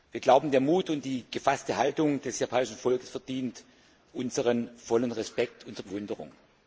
Wir glauben, der Mut und die gefasste Haltung des japanischen Volkes verdienen unseren vollen Respekt und unsere Bewunderung.